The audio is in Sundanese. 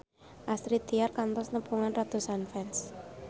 Astrid Tiar kantos nepungan ratusan fans